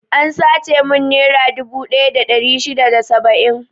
An sace mun nera dubu ɗaya da ɗari shida da saba'in.